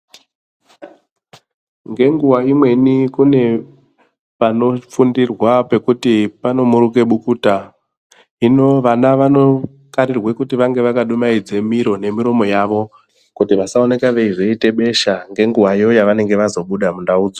Nge nguva imweni kune pano fundirwa pekuti pano muruke bukuta hino vana vano karirwe kuti vange vaka dumaidze miro ne miromo yavo kuti vasa oneka veyi zoite besha nge nguvayo yavanenge vazo buda mundau dzo.